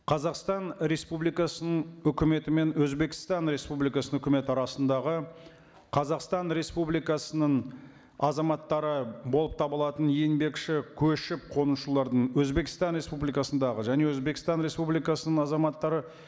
қазақстан республикасының үкіметі мен өзбекстан республикасының үкіметі арасындағы қазақстан республикасының азаматтары болып табылатын еңбекші көшіп қонушылардың өзбекстан республикасындағы және өзбекстан республикасының азаматтары